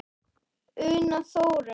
Una Þórey.